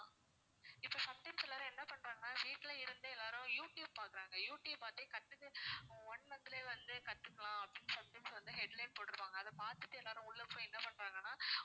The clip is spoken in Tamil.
இப்போ sometimes எல்லாரும் என்ன பண்றாங்கன்னா வீட்டுல இருந்தே எல்லாரும் youtube பாக்குறாங்க youtube பார்த்தே கத்துக்கிட்டு one month லயே வந்து கத்துக்கலாம் அப்படின்னு sometimes வந்து headline போட்டுருப்பாங்க அதை பார்த்துட்டு எல்லாரும் உள்ள போய் என்ன பண்றாங்கன்னா